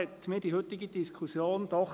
Die heutige Diskussion zeigt mir doch: